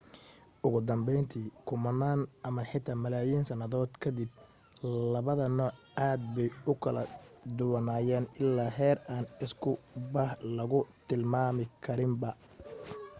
ugu danbayntii kumanaan ama xitaa malaayiin sannadood ka dib labada nooc aad bay u kala duwanaanayaan ilaa heer aan isku bah lagu tilmaami karinba